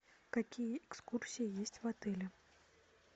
какие экскурсии есть в отеле